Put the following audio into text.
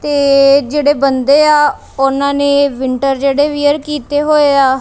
ਤੇ ਜਿਹੜੇ ਬੰਦੇ ਆ ਉਹਨਾਂ ਨੇ ਵਿੰਟਰ ਜਿਹੜੇ ਵੀਅਰ ਕੀਤੇ ਹੋਏ ਆ।